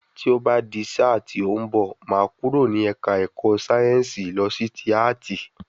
Tí o ba di sáà ti óún bo, máà kúrò ní ẹ̀ka ẹ̀kọ́ síénsì lọ sí tí áàtì